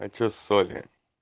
хочу соли